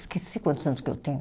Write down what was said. Esqueci quantos anos que eu tenho.